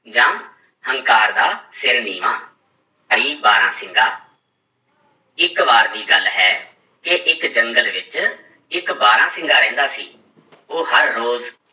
ਜਾਂ ਹੰਕਾਰ ਦਾ ਸਿਰ ਨੀਵਾਂ ਬਾਰਾਂਸਿੰਗਾ ਇੱਕ ਵਾਰ ਦੀ ਗੱਲ ਹੈ ਕਿ ਇੱਕ ਜੰਗਲ ਵਿੱਚ ਇੱਕ ਬਾਰਾਂਸਿੰਗਾ ਰਹਿੰਦਾ ਸੀ ਉਹ ਹਰ ਰੋਜ਼